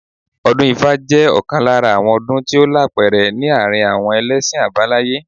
Ọdún ifá jẹ́ ọ̀kan lára àwọn ọdún tí ó lápẹẹrẹ ní àárín àwọn ẹlẹ́ṣin àbáláyé